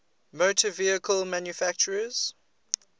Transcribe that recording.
motor vehicle manufacturers